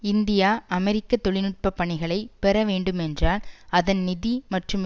India அமெரிக்க தொழில் நுட்ப பணிகளை பெறவேண்டும் என்றால் அதன் நிதி மற்றும் வ